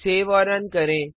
save और run करें